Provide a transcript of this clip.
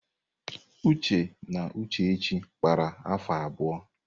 Uche na Uchechi kpara afọ abụọ.